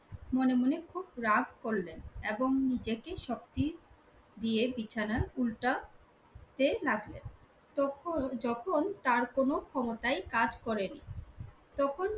মনে মনে খুব রাগ করলেন এবং নিজেকে শক্তি দিয়ে বিছানা উল্টাতে লাগলেন। তখন যখন তার কোনো ক্ষমতায় কাজ করেনি। তখন